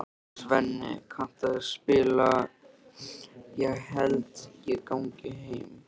Svenni, kanntu að spila lagið „Ég held ég gangi heim“?